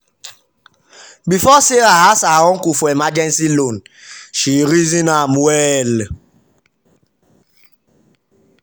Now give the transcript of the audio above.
before sarah ask her uncle for emergency loan she reason am well.